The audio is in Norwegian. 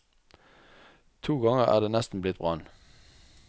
To ganger er det nesten blitt brann.